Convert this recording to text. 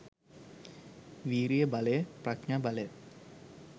විරිය බලය, ප්‍රඥා බලය,